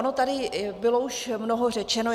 Ono tady bylo už mnoho řečeno.